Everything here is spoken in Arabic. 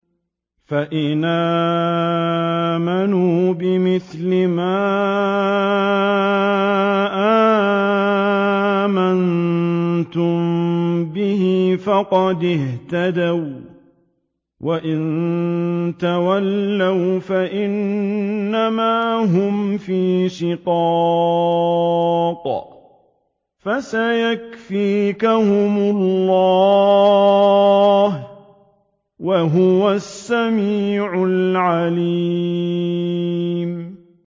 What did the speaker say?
فَإِنْ آمَنُوا بِمِثْلِ مَا آمَنتُم بِهِ فَقَدِ اهْتَدَوا ۖ وَّإِن تَوَلَّوْا فَإِنَّمَا هُمْ فِي شِقَاقٍ ۖ فَسَيَكْفِيكَهُمُ اللَّهُ ۚ وَهُوَ السَّمِيعُ الْعَلِيمُ